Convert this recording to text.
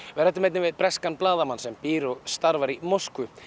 við ræddum einnig við breskan blaðamann sem býr og starfar í Moskvu